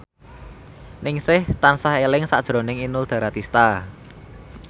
Ningsih tansah eling sakjroning Inul Daratista